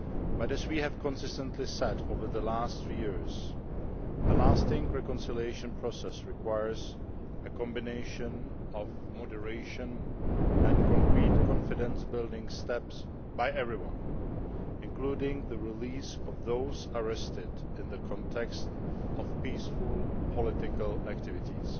But as we have consistently said over the last three years, a lasting reconciliation process requires a combination of moderation and concrete confidence building steps by everyone, including the release of those arrested in the context of peaceful political activities